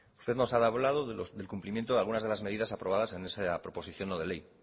usted nos ha hablado del cumplimiento de algunas de las medidas aprobadas en esa proposición no de ley